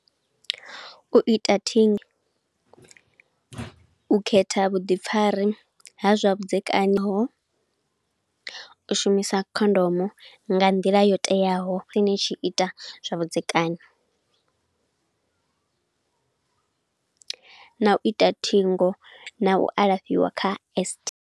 U ita u khetha vhuḓifari ha zwa vhudzekani ho, u shumisa khondomo nga nḓila yo teaho musi ni tshi ita zwavhudzekani, na u ita thingo, na u alafhiwa kha.